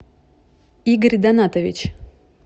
игорь донатович